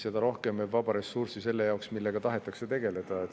seda rohkem jääb vaba ressurssi selle jaoks, millega tahetakse tegelda.